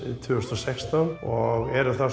tvö þúsund og sextán og erum